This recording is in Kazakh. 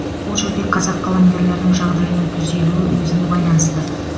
бұл жерде қазақ қаламгерлерінің жағдайының түзелуі өзіне байланысты